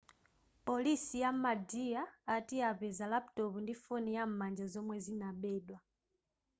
polisi ya madhya ati apeza laputopu ndi foni yam'manja zomwe zinabedwa